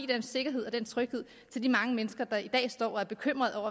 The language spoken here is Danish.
den sikkerhed og den tryghed til de mange mennesker der i dag står og er bekymrede